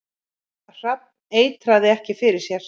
Hrafn eitraði ekki fyrir sér